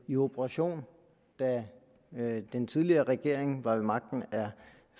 i operation da den tidligere regering var ved magten